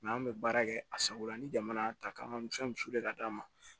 an bɛ baara kɛ a sagola ni jamana y'a ta k'an ka fɛn ka d'a ma